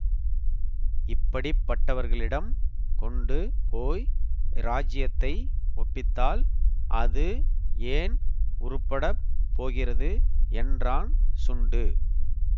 இப்படிப்பட்டவர்களிடம் கொண்டு போய் இராஜ்ஜியத்தை ஒப்பித்தால் அது ஏன் உருப்படப் போகிறது என்றான் சுண்டு